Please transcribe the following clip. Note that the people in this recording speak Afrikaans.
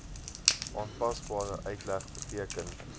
aanpasbare uitleg beteken